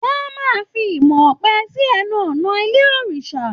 Wọn a máa fi imọ̀ ọ̀pẹ sí ẹnu ọ̀nà ilé òrìṣà